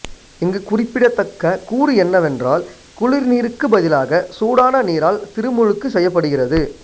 இங்கு குறிப்பிடத்தக்க கூறு என்னவென்றால் குளிர் நீர்க்கு பதிலாக சூடான நீரால் திருமுழுக்கு செய்யப்படுகிறது